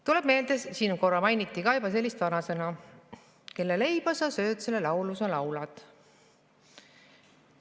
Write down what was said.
Tuleb meelde, siin seda korra juba ka mainiti, selline vanasõna: kelle leiba sa sööd, selle laulu sa laulad.